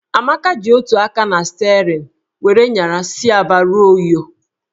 Amaka ji otu aka na sterịn were nyara si Aba ruo Uyo